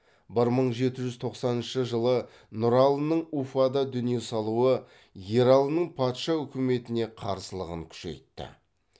бір мың жеті жүз тоқсаныншы жылы нұралының уфада дүние салуы ералының патша үкіметіне қарсылығын кұшейтті